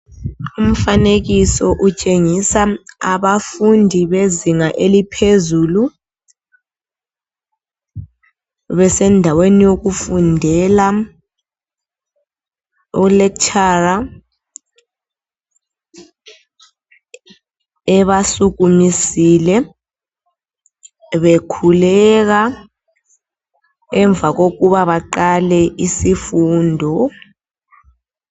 Umfanekiso utshengisa abafundi bezinga eliphezulu besendaweni yokufundela. Ulecturer ebasukumisile bekhuleka emva kokuba baqale isifundo.